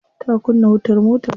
Ta kunna wutar motarta.